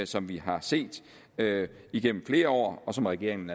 som vi har set igennem flere år og som regeringen